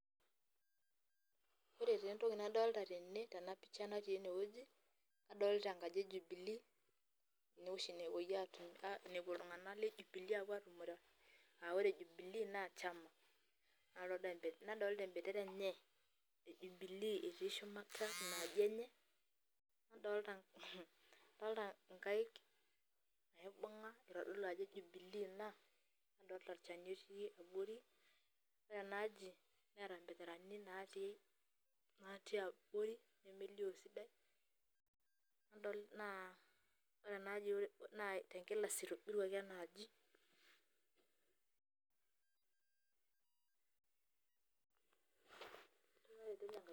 Ore taa entoki nadolita tene tena picha natii enewueji nadolita enakji e Jubilee ene oshi nepuo iltung'anak le Jubilee atumore aa ore Jubilee naa chama nadolita ebendera enye e Jubilee nadolita ina aji enye, nadolta nkaik naibung'a itodolu ajo Jubilee ina nadolta olchani otii abori ore ina aji neeta mbenderani naatii abori nemelioo esidai naa ore ena aji naa tenkilasi itobiruaki ena aji.